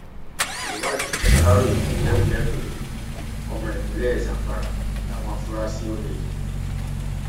ìwádìí aláròye fìdí ẹ múlẹ pé ọmọ ìpínlẹ zamfara làwọn afurasí olè yìí